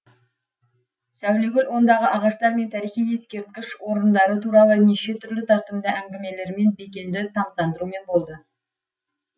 сәулегүл ондағы ағаштар мен тарихи ескерткіш орындары туралы неше түрлі тартымды әңгімелерімен бекенді тамсандырумен болды